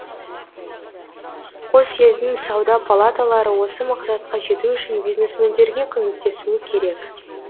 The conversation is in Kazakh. қос елдің сауда палаталары осы мақсатқа жету үшін бизнесмендерге көмектесуі керек